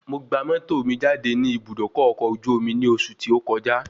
Mo gba mọ́tò mi jáde ní Ibùdókọ̀ ọkọ̀ ojú omi ní oṣù tí ó kọjá